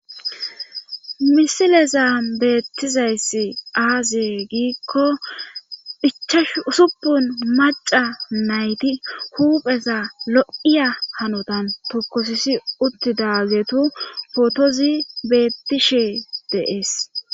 misilezaa beettizayssi aazie giikko ichashu usupun maca nayti huupheza lo7iya hanotan tokosisi uttidaagetu fotozi beettishe deees